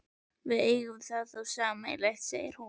Við eigum það þá sameiginlegt, segir hún.